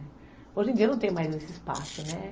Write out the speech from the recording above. Hoje em dia não tem mais esse espaço, né?